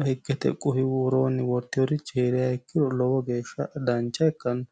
seeru iima uurrite wortinori heeriro lowo geeshsha dancha ikkano.